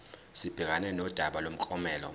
sibhekane nodaba lomklomelo